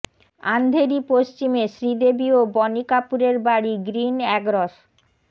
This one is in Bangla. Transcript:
আন্ধেরি পশ্চিমে শ্রীদেবী ও বনি কাপুরের বাড়ি গ্রিন একরস